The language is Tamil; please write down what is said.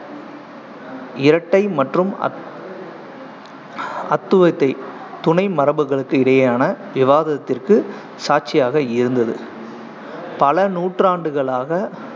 இரட்டை மற்றும் அத்~ அத்துவத்தை துணை மரபுகளுக்கு இடையேயான விவாதத்திற்கு சாட்சியாக இருந்தது பல நூற்றாண்டுகளாக